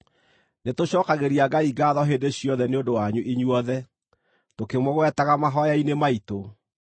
Nĩtũcookagĩria Ngai ngaatho hĩndĩ ciothe nĩ ũndũ wanyu inyuothe, tũkĩmũgwetaga mahooya-inĩ maitũ.